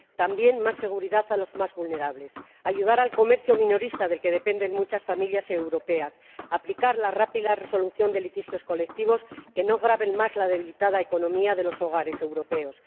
También más seguridad para los más vulnerables ayudar al comercio minorista, del que dependen muchas familias europeas, y aplicar la rápida resolución de litigios colectivos para que no graven más la delicada economía de los hogares europeos.